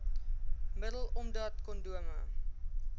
middel omdat kondome